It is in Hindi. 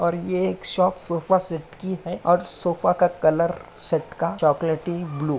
और ये एक शॉप सोफा सेट की है और सोफा का कलर सेट का चॉकोलेटी ब्लू --